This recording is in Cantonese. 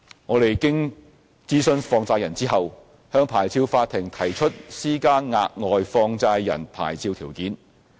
我們經諮詢放債人後，向牌照法庭提出施加額外放債人牌照條件。